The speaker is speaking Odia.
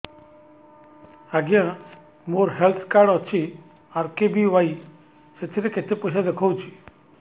ଆଜ୍ଞା ମୋର ହେଲ୍ଥ କାର୍ଡ ଅଛି ଆର୍.କେ.ବି.ୱାଇ ସେଥିରେ କେତେ ପଇସା ଦେଖଉଛି